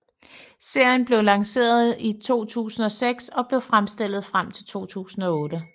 Serien blev lanceret i 2006 og blev fremstillet frem til 2008